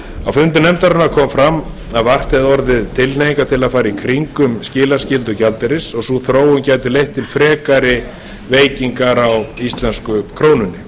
á fundi nefndarinnar kom fram að vart hefði orðið tilhneigingar til að fara í kringum skilaskyldu gjaldeyris og að sú þróun gæti leitt til frekari veikingar á íslensku krónunni